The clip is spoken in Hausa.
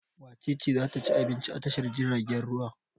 Wace ce za ta ci abinci a tashar jiragen ruwa?